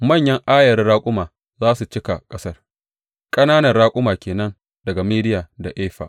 Manyan ayarin raƙuma za su cika ƙasar, ƙananan raƙuma ke nan daga Midiyan da Efa.